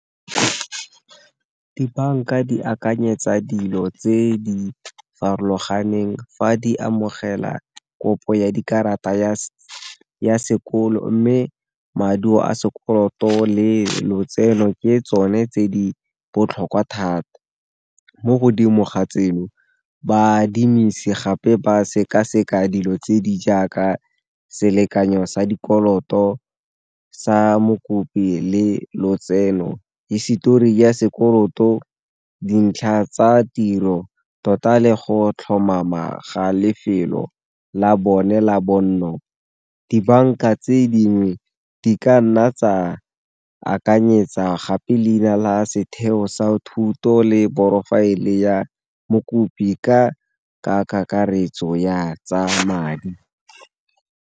Dibanka di akanyetsa dilo tse di farologaneng fa di amogela kopo ya dikarata ya sekolo, mme maduo a sekoloto le lotseno ke tsone tse di botlhokwa thata. Mo godimo ga tseno baadimisi gape ba sekaseka dilo tse di jaaka selekanyo sa dikoloto sa mokopi le lotseno, hisetori ya sekoloto, dintlha tsa tiro tota le go tlhomama ga lefelo la bone la bonno. Dibanka tse dingwe di ka nna tsa akanyetsa gape leina la setheo sa thuto le porofaele ya mokopi ka kakaretso ya tsa madi.